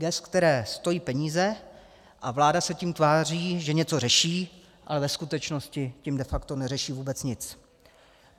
Gest, která stojí peníze, a vláda se tím tváří, že něco řeší, ale ve skutečnosti tím de facto neřeší vůbec nic.